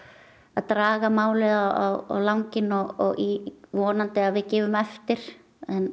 að draga málið á langinn og vonandi að við gefum eftir